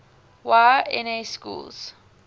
y na schools